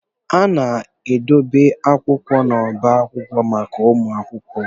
A na-edobe akwụkwọ n'ọba akwụkwọ maka ụmụ akwụkwọ.